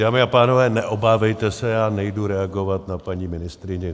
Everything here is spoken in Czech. Dámy a pánové, neobávejte se, já nejdu reagovat na paní ministryni.